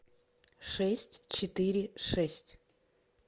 шесть четыре шесть